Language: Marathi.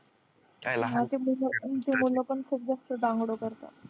करतात.